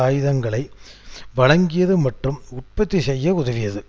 ஆயுதங்களை வழங்கியது மற்றும் உற்பத்திசெய்ய உதவியது